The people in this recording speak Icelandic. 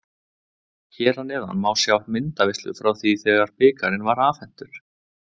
Hér að neðan má sjá myndaveislu frá því þegar bikarinn var afhentur.